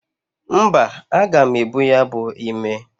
Mba, aga m ebu ya bu ime.